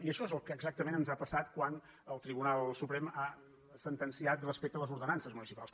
i això és el que exactament ens ha passat quan el tribunal suprem ha sentenciat respecte a les ordenances municipals